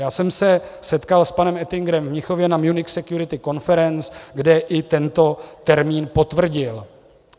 Já jsem se setkal s panem Oettingerem v Mnichově na Munich Security Conference, kde i tento termín potvrdil.